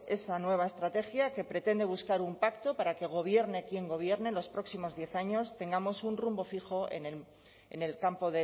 esta nueva estrategia que pretende buscar un pacto para que gobierne quien gobierne en los próximos diez años tengamos un rumbo fijo en el campo